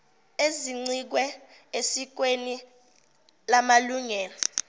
ezincike esikweni lamalungelo